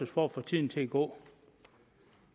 for at få tiden til at gå